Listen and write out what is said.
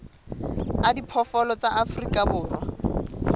a diphoofolo tsa afrika borwa